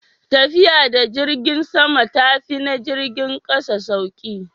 tafiya da jirgin sama ta fi na jirgin ƙasa sauri?